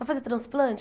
Vai fazer transplante?